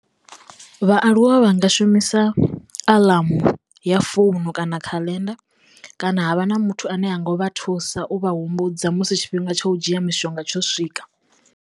Vhaaluwa vha nga shumisa anḽamu ya founu kana kha khaḽenda kana havha na muthu ane a nga vha thusa u vha humbudza musi tshifhinga tsha u dzhia mishonga tsho swika.